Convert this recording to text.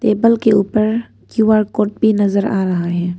Table के ऊपर QR code भी नजर आ रहा है।